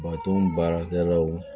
Baton baarakɛlaw